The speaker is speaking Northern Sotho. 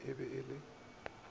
ik e be e se